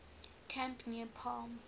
camp near palm